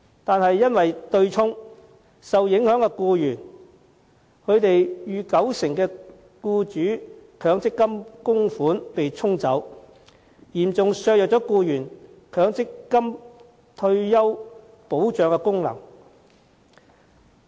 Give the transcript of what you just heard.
然而，對沖機制令受影響僱員逾九成的強積金僱主供款被"沖走"，嚴重削弱僱員強積金的退休保障功能。